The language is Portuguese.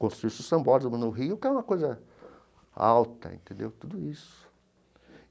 Construiu-se o Sambódromo no Rio, que é uma coisa alta entendeu, tudo isso.